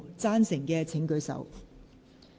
贊成的請舉手。